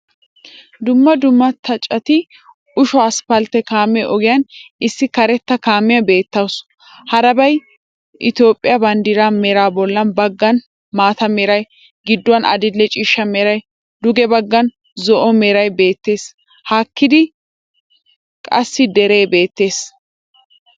dumma dumma xaacetti Uushsho asphphalte kaame ogiyan issi kareta kaamiyaa beettawusu. harabay Ethiiphphiyaa banddiray, meran bolla baggan maata mera, gidduwan adil"e ciishsha meran, duge baggan zo"o meray beettees. haakida kassi deree beettees.